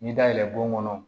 N'i dalɛn don kɔnɔ